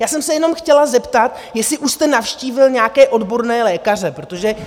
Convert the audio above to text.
Já jsem se jenom chtěla zeptat, jestli už jste navštívil nějaké odborné lékaře, protože...